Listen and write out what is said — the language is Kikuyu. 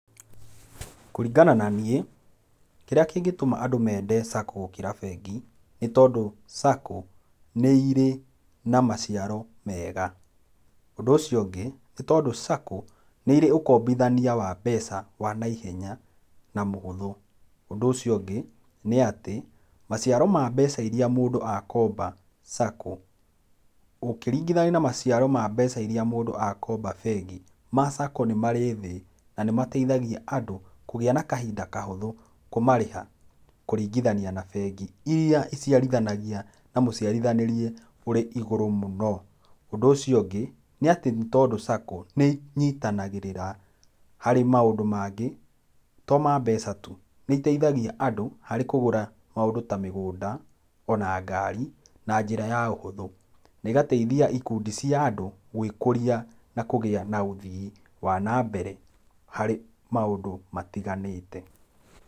Kũringana na niĩ kĩrĩa kĩngĩtũma andũ mende sacco gũkĩra bengi, nĩ tondũ sacco nĩ irĩ na maciaro mega, ũndũ ũcio ungĩ nĩ tondũ sacco nĩ irĩ ũkombithania wa mbeca wa na ihenya na mũhũthũ, ũndũ ũcio ũngĩ, nĩ atĩ maciaro ma mbeca irĩa mũndũ akomba sacco ũkĩringithania na maciaro ma mbeca irĩa mũndũ akomba bengi, ma sacco nĩ marĩ thĩ na nĩ mateithagia andũ kũgĩa na kahinda kahũthũ, kũmarĩha kũringithania na bengi, irĩa icirithanagia na mũciarithanĩreũrĩ igũrũ mũno, ũndũ ũcio ũngĩ nĩ atĩ, nĩ tondũ sacco nĩinyitanagĩrĩra harĩ maũndũ mangĩ to ma mbeca tu, nĩiteithagia andũ harĩ kũgũra maũndũ ta mĩgũnda, ona ngari na njĩra ya ũhũthũ, na igateithia ikundi cia andũ gwĩkũria na kũgĩa na ũthii wa na mbere harĩ maũndũ matiganĩte.